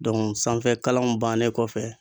sanfɛ kalanw bannen kɔfɛ